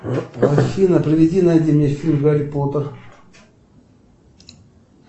афина приведи найди мне фильм гарри поттер